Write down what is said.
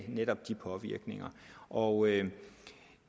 netop de påvirkninger og